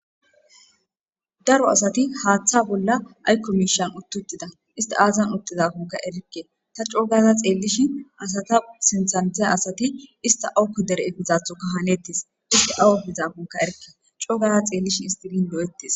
Daro asati haaththa bolla aykkomiishan uttutida ista aazan uttizafonka erikke ta coogara xeellishi asata sinthante asati ista awuko dere efizathoka hanettis ista awu efizafonka erikke coogara xeellishi istilin do7ettes.